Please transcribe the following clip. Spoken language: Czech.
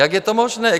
Jak je to možné?